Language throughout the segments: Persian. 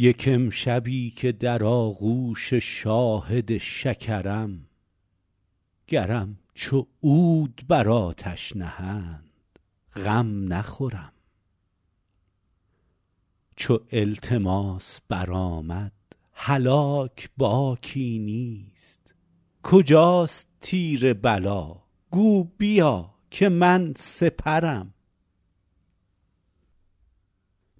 یک امشبی که در آغوش شاهد شکرم گرم چو عود بر آتش نهند غم نخورم چو التماس برآمد هلاک باکی نیست کجاست تیر بلا گو بیا که من سپرم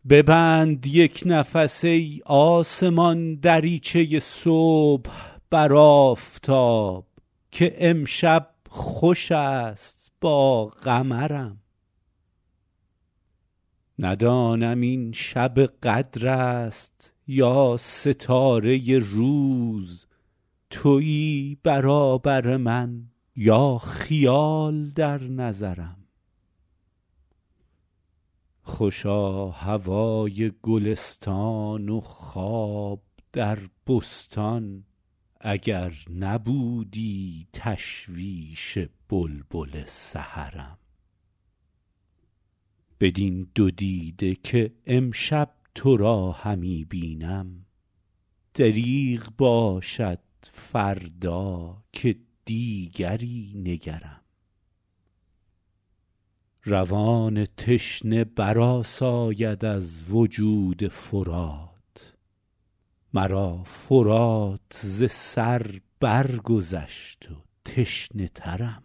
ببند یک نفس ای آسمان دریچه صبح بر آفتاب که امشب خوش است با قمرم ندانم این شب قدر است یا ستاره روز تویی برابر من یا خیال در نظرم خوشا هوای گلستان و خواب در بستان اگر نبودی تشویش بلبل سحرم بدین دو دیده که امشب تو را همی بینم دریغ باشد فردا که دیگری نگرم روان تشنه برآساید از وجود فرات مرا فرات ز سر برگذشت و تشنه ترم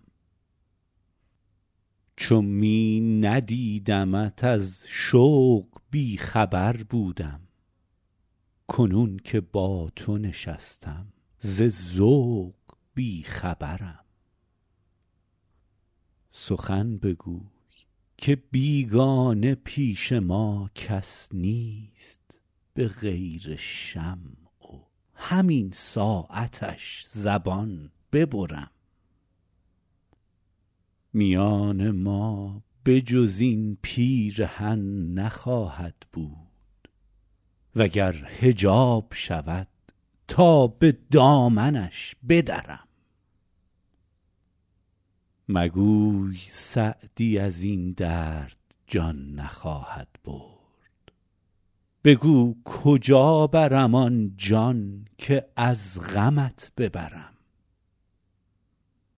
چو می ندیدمت از شوق بی خبر بودم کنون که با تو نشستم ز ذوق بی خبرم سخن بگوی که بیگانه پیش ما کس نیست به غیر شمع و همین ساعتش زبان ببرم میان ما به جز این پیرهن نخواهد بود و گر حجاب شود تا به دامنش بدرم مگوی سعدی از این درد جان نخواهد برد بگو کجا برم آن جان که از غمت ببرم